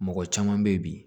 Mɔgɔ caman bɛ yen bi